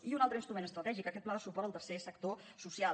i un altre instrument estratègic aquest pla de suport al tercer sector social